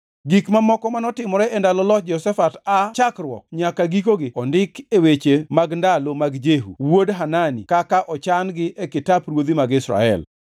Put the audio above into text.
Gik mamoko manotimore e ndalo loch Jehoshafat aa chakruok nyaka gikogi ondikgi e weche mag ndalo mag Jehu wuod Hanani kaka ochan-gi e kitap ruodhi mag Israel.